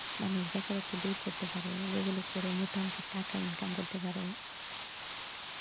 মানুষ বেকারত্ব দূর করতে পারে যেগুলো করে মোটা অংকের টাকা income করতে পারে।